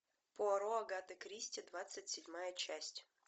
пуаро агаты кристи двадцать седьмая часть